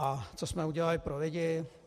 A co jsme udělali pro lidi?